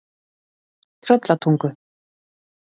Tröllatungu